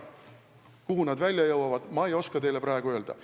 Kuhu need välja jõuavad, ma ei oska teile praegu öelda.